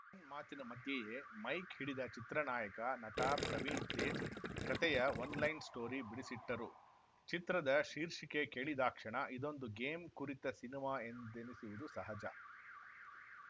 ಪವನ್‌ ಮಾತಿನ ಮಧ್ಯೆಯೇ ಮೈಕ್‌ ಹಿಡಿದ ಚಿತ್ರದ ನಾಯಕ ನಟ ಪ್ರವೀಣ್‌ ತೇಜ್‌ ಕತೆಯ ಒನ್‌ಲೈನ್‌ ಸ್ಟೋರಿ ಬಿಡಿಸಿಟ್ಟರು ಚಿತ್ರದ ಶೀರ್ಷಿಕೆ ಕೇಳಿದಾಕ್ಷಣ ಇದೊಂದು ಗೇಮ್‌ ಕುರಿತ ಸಿನಿಮಾ ಎಂದೆನಿಸುವುದು ಸಹಜ